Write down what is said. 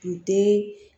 Kun te